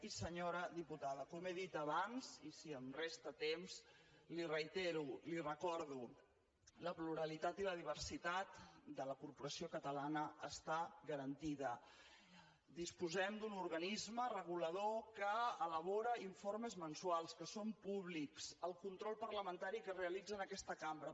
i senyora diputada com he dit abans i si em resta temps li ho reitero li ho recordo la pluralitat i la diversitat de la corporació catalana estan garantides disposem d’un organisme regulador que elabora informes mensuals que són públics el control parlamentari que es realitza en aquesta cambra